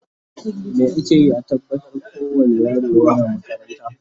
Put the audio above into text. me akeyi a tabbatar ko wani yaro yana makaranta?